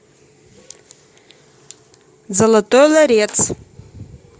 золотой ларец